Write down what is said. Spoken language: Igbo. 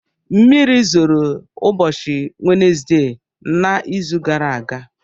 Mmiri zoro ụbọchị wednesdee na izu gara aga